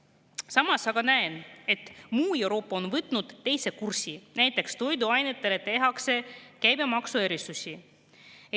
Samas aga näen, et muu Euroopa on võtnud teise kursi, näiteks toiduainetele tehakse käibemaksuerisusi.